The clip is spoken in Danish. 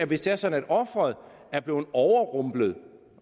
hvis det er sådan at offeret er blevet overrumplet